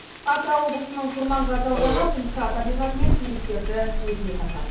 атырау облысының құрманғазы ауданы тұмса табиғатымен туристерді өзіне тартады